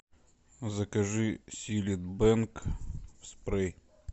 закажи силит бенг спрей